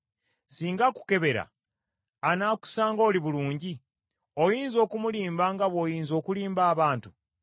Singa akukebera, anaakusanga oli bulungi? Oyinza okumulimba nga bw’oyinza okulimba abantu?